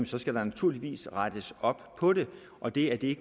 så skal der naturligvis rettes op på det og det er det